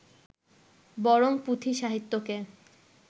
বরং পুঁথি সাহিত্যকে